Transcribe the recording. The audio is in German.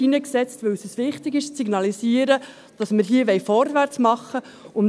Denn es ist uns wichtig zu signalisieren, dass wir hier vorwärtsmachen wollen.